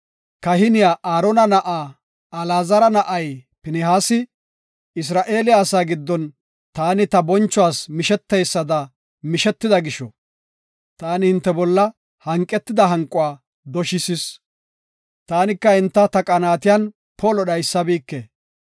“Kahiniya Aarona na7aa Alaazara na7ay Pinihaasi Isra7eele asaa giddon taani ta bonchuwas misheteysada mishetida gisho, taani hinte bolla hanqetida hanquwa doshisis. Taani ta qaanatiyan enta polo dhaysabike.